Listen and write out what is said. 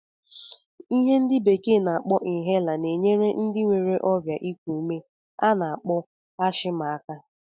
Ihe ndị bekee na-akpọ inhaler na-enyere ndị nwere ọrịa ịkụ ume a na-akpọ ashma aka.